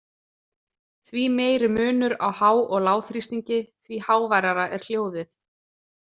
Því meiri munur á há- og lágþrýstingi, því háværara er hljóðið.